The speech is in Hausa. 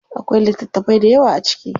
Akwai littatafai dayawa a ciki.